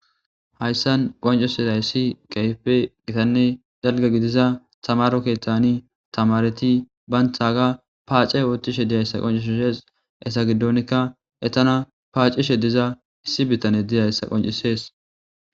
hayssan qoncus idayssi qaype gitanne dalga gidiza tamaro ketani tamareti banthaaga paace oothtishe diyayssa qoncishshees esa giddonkka etana paacishe diza issi bittane diyayssa qoncisees